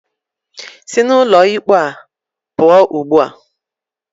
Sị n'ụlọ ikpe a pụọ ugbu a!